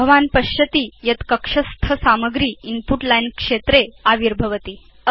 भवान् पश्यति यत् कक्षस्थ सामग्री इन्पुट लाइन् क्षेत्रे आविर्भवति